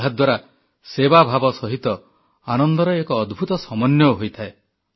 ଏହାଦ୍ୱାରା ସେବାଭାବ ସହିତ ଆନନ୍ଦର ଏକ ଅଦ୍ଭୂତ ସମନ୍ୱୟ ହୋଇଥାଏ